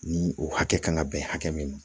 Ni o hakɛ kan ka bɛn hakɛ min ma